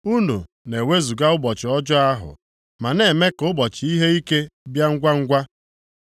Unu na-ewezuga ụbọchị ọjọọ ahụ ma na-eme ka ụbọchị ihe ike bịa ngwangwa.